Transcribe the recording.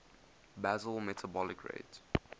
basal metabolic rate